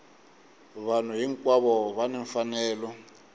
vanhu hinkwavo va ni mfanelo